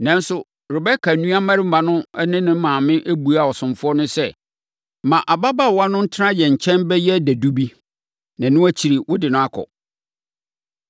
Nanso, Rebeka nuabarima no ne ne maame buaa ɔsomfoɔ no sɛ, “Ma ababaawa no ntena yɛn nkyɛn bɛyɛ sɛ dadu bi, na ɛno akyiri, wode no akɔ.”